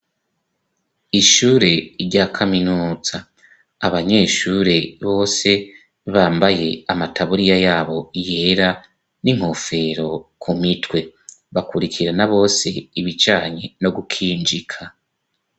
Ishure rya kaminutsa abanyeshure bose bambaye amataburiya yabo yera n'inkofero ku mitwe bakurikirana bose ibicanye no gukinjika.